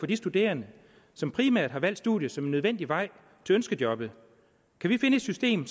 de studerende som primært har valgt studiet som en nødvendig vej til ønskejobbet kan vi finde et system